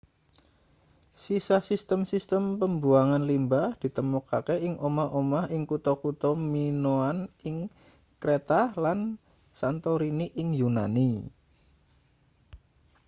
sisa sistem sistem pembuangan limbah ditemokake ing omah-omah ing kutha-kutha minoan ing kreta lan santorini ing yunani